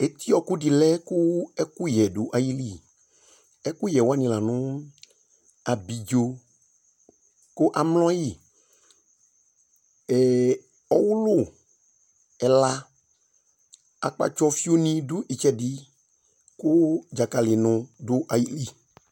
Etiɔɔkʋ dɩ lɛ kʋ ɛkʋyɛ dʋ ayili ,ɛkʋyɛ wanɩ la nʋ:abidzo kʋ amlɔ yɩ ,ee ɔwʋlʋ ɛla ,Akpatsɔfio nɩ dʋ ɩtsɛdɩ kʋ dzakalɩnʋ dʋ ayoli